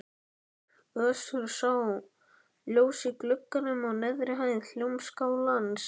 Össur sá ljós í glugganum á neðri hæð Hljómskálans.